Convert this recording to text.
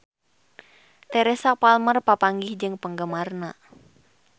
Teresa Palmer papanggih jeung penggemarna